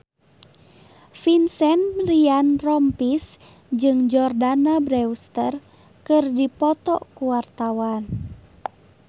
Vincent Ryan Rompies jeung Jordana Brewster keur dipoto ku wartawan